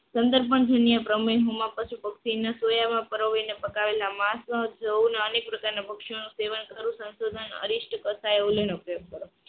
દુનિયા પછી ભક્તિ ને સોયામાં પરવીને પત્ર આવેલા અનેક પ્રકારના પક્ષીઓનું સેવન કરવું સંશોધન ઉપયોગ કરે